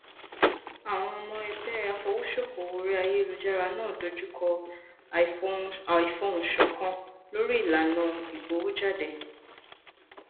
àwọn ọmọ ẹgbẹ afowosokowo orí ayélujára náà dojú kọ àìfohùnṣọkan lórí ìlànà ìgbowójáde